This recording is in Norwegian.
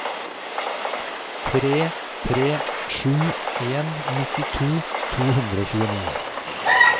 tre tre sju en nittito to hundre og tjueni